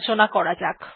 এটি খোলা যাক